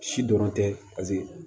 Si dɔrɔn tɛ paseke